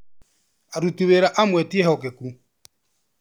Aruti wĩra amwe ti ehokeku